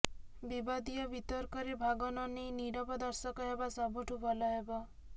ବିବାଦୀୟ ବିତର୍କରେ ଭାଗ ନ ନେଇ ନିରବ ଦର୍ଶକ ହେବା ସବୁଠୁଁ ଭଲ ହେବ